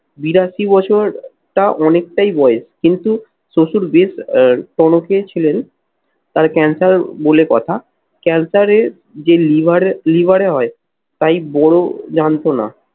বিরাশি বছর তা অনেকটাই বয়স কিন্তু শ্বশুর বেশ আহ টনকেই ছিলেন। তার cancer বলে কথা, cancer এর যে liver liver এ হয় তাই বড় জানতো না।